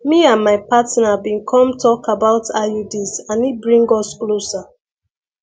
me and my partner been come talk about iuds and e bring us closer